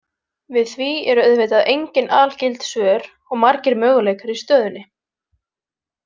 Við því eru auðvitað engin algild svör og margir möguleikar í stöðunni.